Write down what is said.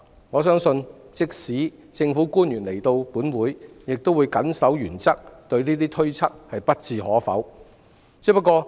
我相信即使政府官員來到立法會亦會謹守原則，對上述推測不置可否。